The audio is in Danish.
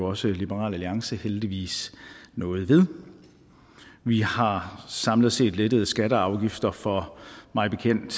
også liberal alliance heldigvis noget ved vi har samlet set lettet skatter og afgifter for mig bekendt